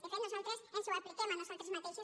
de fet nosaltres ens ho apliquem a nosaltres mateixes